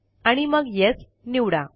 आणि मग येस निवडा